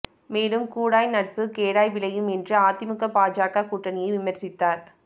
மேலும் கூடாய் நட்பு கோடாய் விளையும் என்றும் அதிமுக பாஜக கூட்டணியை விமர்சித்தார்